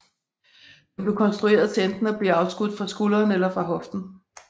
Den blev konstrueret til enten at blive afskudt fra skulderen eller fra hoften